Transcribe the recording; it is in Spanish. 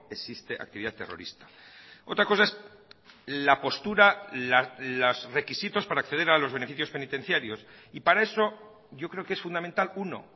existe actividad terrorista otra cosa es la postura los requisitos para acceder a los beneficios penitenciarios y para eso yo creo que es fundamental uno